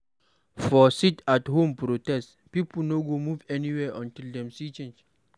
For sit-at-home protest, pipo no go move or go anywhere until dem see change.